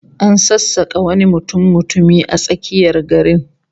An sassaka wani mutummutumi a tsakiyar garin